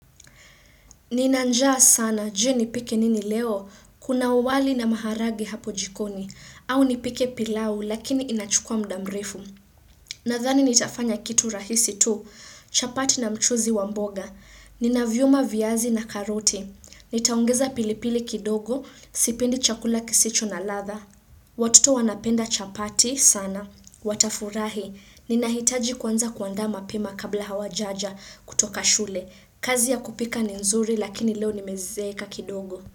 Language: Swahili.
Ninanjaa sana jee nipike nini leo. Kuna uwali na maharage hapo jikoni. Au nipike pilau lakini inachukua muda mrefu. Nadhani nitafanya kitu rahisi tu. Chapati na mchuzi wa mboga. Nina vyuma viyazi na karote. Nitaongeza pilipili kidogo. Sipendi chakula kisicho na ladha. Watoto wanapenda chapati sana. Watafurahi. Nina hitaji kwanza kuandaa mapema kabla hawajaja kutoka shule. Kazi ya kupika ni nzuri lakini leo nimezeka kidogo.